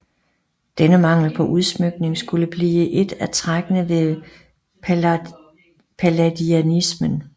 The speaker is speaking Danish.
Denne mangel på udsmykning skulle blive et af trækkene ved palladianismen